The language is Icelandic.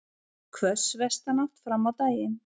Hvöss vestanátt fram á daginn